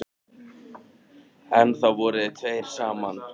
Einn maður lék þar miklu best.